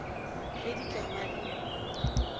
ge di ka ba le